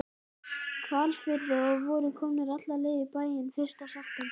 Hvalfirði og voru komnir alla leið í bæinn fyrsta september.